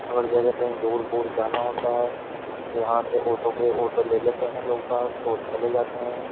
अगर जैसे कहीं दूर दूर जाना होता है तो यहां से ऑटो पे ऑटो ले लेते हैं लोग और चले जाते हैं।